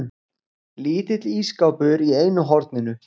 Lítill ísskápur í einu horninu.